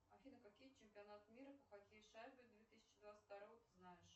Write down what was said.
афина какие чемпионат мира по хоккею с шайбой две тысячи двадцать второго ты знаешь